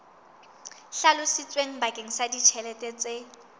hlalositsweng bakeng sa ditjhelete tse